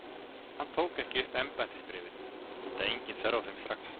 Hann tók ekki upp embættisbréfin enda engin þörf á þeim strax.